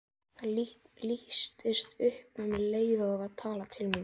Ég mun uppskera óvild hans- og hatur, gáðu að því.